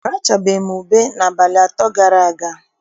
Arachabeghị m ube n'abalị atọ gara aga.